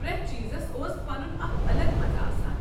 پرٮ۪تھ چیٖزس اوس پنن اکھ الگ مزٕ آسان۔